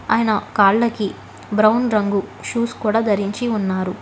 అయన కాళ్ళకి బ్రౌన్ రంగు షూస్ కూడా ధరించి ఉన్నారు.